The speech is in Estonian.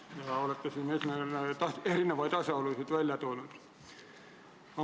Te olete erinevaid asjaolusid välja toonud.